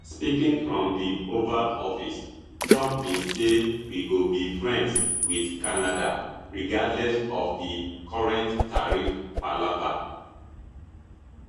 speaking from di oval office trump bin say we go be friends with canada regardless of di current tariff palava